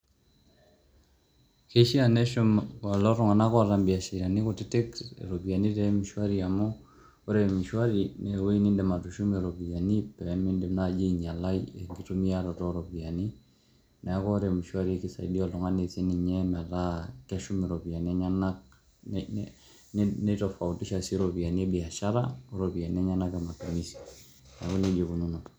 Keishaa neshum lelo tung'anak oota biasharani kutitik neshum iropiani te m-shwari amu ore m-shwari nee ewoi niindim atushumie iropiani pee miindim nai ainyalai enkitumiaroto o ropiani. Neeku ore m-shwari kisaidia oltung'ani sininye metaa keshum iropiani enyenak, ni ni nitofautisha sii iropiani e biashara o ropianinenyenak e matumizi.